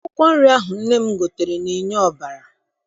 Akwụkwọ nri ahụ nne m gotere na-enye ọbara.